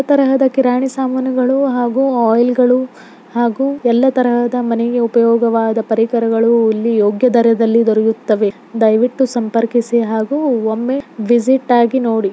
ಈ ತರಹದ ಕಿರಾಣಿ ಸಾಮಾನುಗಳು ಹಾಗು ಆಯಿಲ ಗಳು ಹಾಗು ಎಲ್ಲ ತರಹದ ಮನೆ ಗೆ ಉಪಯೋಗ್ ವಾದ ಪರಿಕರಗಳು ಇಲ್ಲಿ ಯೋಗ್ಯ ದರದಲ್ಲಿ ದೊರೆಯುತ್ತವೇ ದಯವಿಟ್ಟು ಸಂಪರ್ಕಿಸಿ ಹಾಗು ಒಮ್ಮೆ ವಿಸಿಟ್ ಆಗಿ ನೋಡಿ.